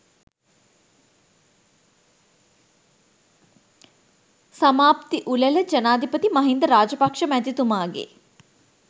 සමාප්ති උළෙල ජනාධිපති මහින්ද රාජපක්ෂ මැතිතුමාගේ